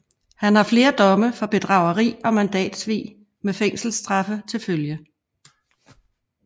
Han har flere domme for bedrageri og mandatsvig med fængselsstraffe til følge